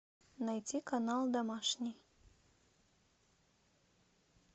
найти канал домашний